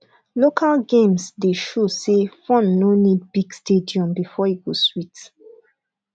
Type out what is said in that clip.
local games dey show say fun no need big stadium before e go sweet